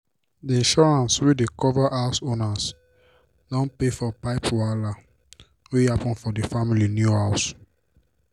d insurance wey dey cover house owners don pay for pipe wahala wey happen for d family new house.